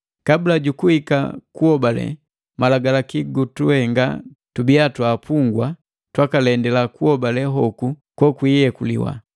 Kabula jukuhika kuhobale, malagalaki gutuhenga tubiya twa apungwa, twakalendila kuhobale hoku kuyekuliwa.